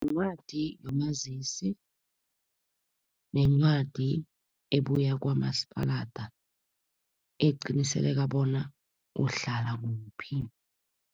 Yincwadi yomazisi nencwadi ebuya kwamasipalada, eqinisekisa bona uhlala kuphi.